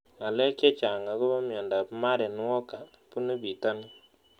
Ng'alek chechang' akopo miondop Marden walker punu pitonin